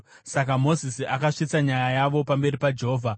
Saka Mozisi akasvitsa nyaya yavo pamberi paJehovha